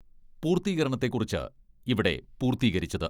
പൂർത്തീകരണത്തെക്കുറിച്ച് ഇവിടെ പൂർത്തീകരിച്ചത്.